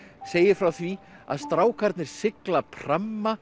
segir frá því að strákarnir sigla